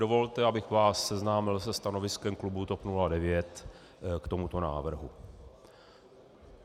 Dovolte, abych vás seznámil se stanoviskem klubu TOP 09 k tomuto návrhu.